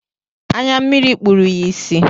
Anya mmiri kpụrụ ya ịsị.